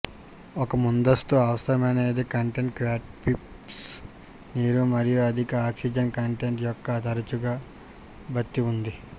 ఒక ముందస్తు అవసరమనేది కంటెంట్ క్యాట్పిష్ నీరు మరియు అధిక ఆక్సిజన్ కంటెంట్ యొక్క తరచుగా భర్తీ ఉంది